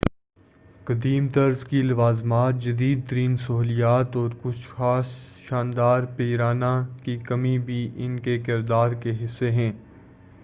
قدیم طرز کی لوازمات جدید ترین سہولیات اور کچھ خاص شاندار پیرانہ کی کمی بھی انکے کردار کے حصّے ہیں